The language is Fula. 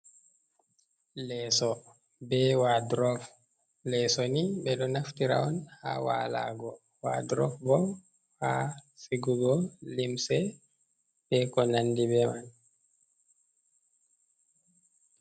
Leso be wadrop. Leso ni ɓe ɗo naftira on ha walugo, wadrop bo ha sigugo lumse be ko nandi be man.